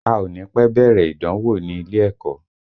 A ò ní pẹ́ bẹ̀rẹ̀ ìdánwò ní ilé ẹ̀kọ́